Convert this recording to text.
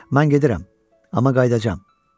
Mən gedirəm, amma qayıdacam.